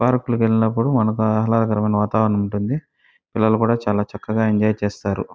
Park కి వెళ్ళినప్పుడు ఆహ్లాదకరమైన వాతావరణం ఉంటుంది. పిల్లలు చాల చక్కగా ఎంజాయ్ చేస్తారు.